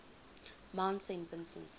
mount saint vincent